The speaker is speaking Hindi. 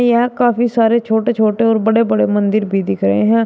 यहां काफी सारे छोटे छोटे और बड़े बड़े मंदिर भी दिख रहे हैं।